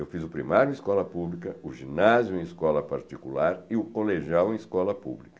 Eu fiz o primário em escola pública, o ginásio em escola particular e o colegial em escola pública.